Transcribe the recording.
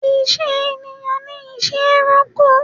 Ìṣe ẹ̀yàn ni ìṣe ẹranko.